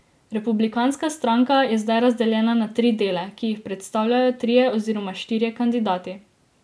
Republikanska stranka je zdaj razdeljena na tri dele, ki jih predstavljajo trije oziroma štirje kandidati.